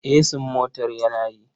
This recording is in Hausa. Esin motar yana yi.